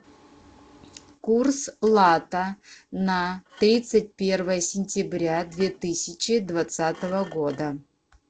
курс лата на тридцать первое сентября две тысячи двадцатого года